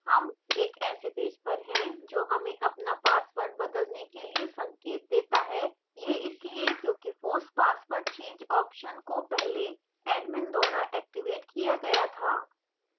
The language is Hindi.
हम एक ऐसे पेज पर हैं जो हमें अपना password बदलने के लिए संकेत देता है यह इसलिए क्योंकि force password change option को पहले admin द्वारा activated किया गया था